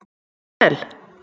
Mikkel